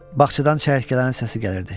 Baxçadan çəyirtkələrin səsi gəlirdi.